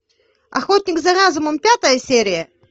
охотник за разумом пятая серия